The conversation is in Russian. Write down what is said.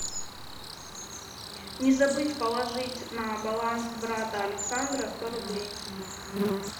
не забыть положить на баланс брата александра сто рублей